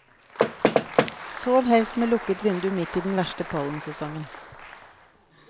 Sov helst med lukket vindu midt i den verste pollensesongen.